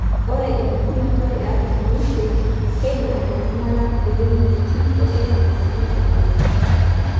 Ore empukunoto eartam oisiet, XXYY keidim aitanyamala kulie wuejitin osesen sii aitoki.